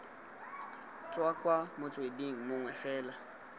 tswa ko motsweding mongwe fela